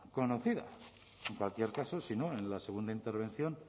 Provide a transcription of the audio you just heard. conocida en cualquier caso si no en la segunda intervención